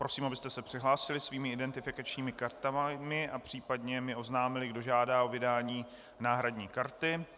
Prosím, abyste se přihlásili svými identifikačními kartami a případně mi oznámili, kdo žádá o vydání náhradní karty.